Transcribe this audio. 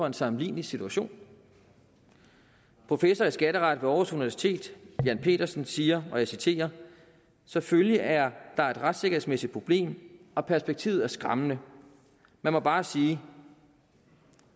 en sammenlignelig situation professor i skatteret ved aarhus universitet jan pedersen siger og jeg citerer selvfølgelig er der et retssikkerhedsmæssigt problem og perspektivet er skræmmende man må bare sige